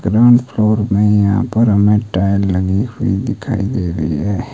Ground floor में यहां पर हमें टाइल लगी हुई दिखाई दे रही है।